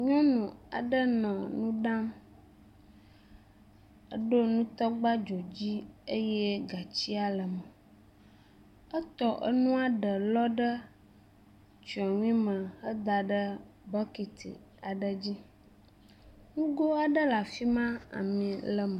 Nyɔnu aɖe nɔ nu ɖam. Eɖo nutɔgba dzodzi eye gatsia le eme. Etɔ enua ɖe lɔ ɖe tsɔnui me heda ɖe bɔkiti aɖe dzi. Nugo aɖe le afi ma ami le eme.